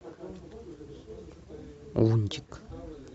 лунтик